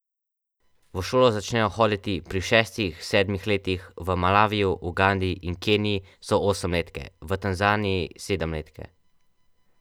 V šolo začnejo hoditi pri šestih, sedmih letih, v Malaviju, Ugandi in Keniji so osemletke, v Tanzaniji sedemletke.